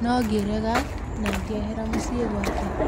No ngerega na ngĩehera mũciĩ gwake.